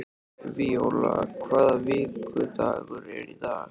Víóla, hvaða vikudagur er í dag?